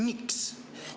Miks?